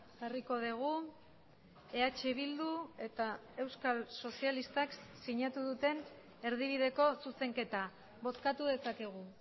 jarriko dugu eh bildu eta euskal sozialistak sinatu duten erdibideko zuzenketa bozkatu dezakegu